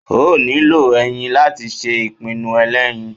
o niló eyín latí sé ipinu elẹyín